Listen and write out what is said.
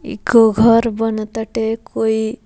इक घर बनअ टाते कोई --